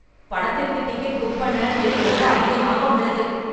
படத்திற்கு ticket book பண்ண விலை ரொம்ப அதிகமாக உள்ளது.